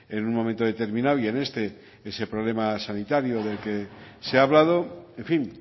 en un momento determinado y en este ese problema sanitario del que se ha hablado en fin